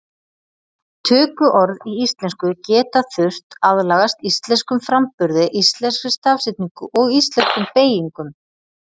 Tökuorð í íslensku geta þurft aðlagast íslenskum framburði, íslenskri stafsetningu og íslenskum beygingum.